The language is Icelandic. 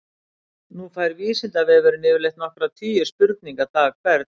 Nú fær Vísindavefurinn yfirleitt nokkra tugi spurninga dag hvern.